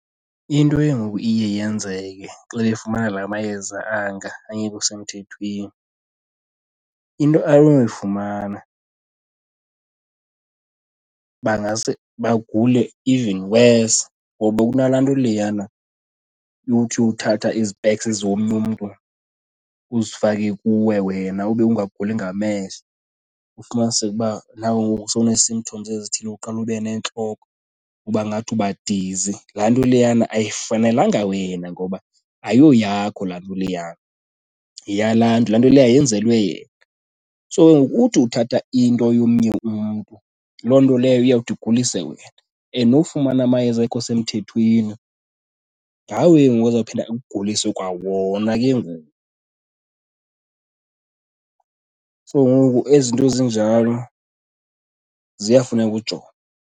Into eye ngoku iye yenzeke xa efumana la mayeza anga angekho semthethweni, into anoyifumana bangase bagule even worse ngoba kunala nto leyana yothi uthatha ii-specs zomnye umntu uzifake kuwe, wena ube ungaguli ngamehlo ufumaniseke uba nawe ngoku sowune symptoms ezithile. Uqale ube nentloko uba ngathi uba dizi, laa nto leyana ayifanelanga wena ngoba ayoyakho laa nto leyana, yeyalaa mntu. Laa nto leyana yenzelwe yena. So ke ngokuthi uthatha into yomnye umntu loo nto leyo iyawuthi igulise wena and nofumana amayeza angekho semthethweni ngawo ke ngoku azawuphinda akugulise kwawona ke ngoku. So ngoku ezi zinto zinjalo ziyafuna ukujongwa.